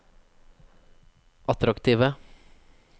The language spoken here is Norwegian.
attraktive